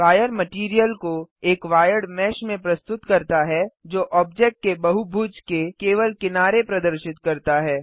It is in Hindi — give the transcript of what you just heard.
वायर मटैरियल को एक वायर्ड मेश में प्रस्तुत करता है जो ऑब्जेक्ट के बहुभुज के केवल किनारे प्रदर्शित करता है